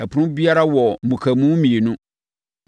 Ɛpono biara wɔ mmukamu mmienu.